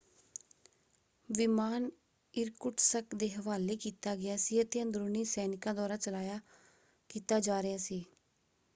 ਵਿਮਾਨ Irkutsk ਦੇ ਹਵਾਲੇ ਕੀਤਾ ਗਿਆ ਸੀ ਅਤੇ ਅੰਦਰੂਨੀ ਸੈਨਿਕਾਂ ਦੁਆਰਾ ਚਲਾਇਆ ਕੀਤਾ ਜਾ ਰਿਹਾ ਸੀ।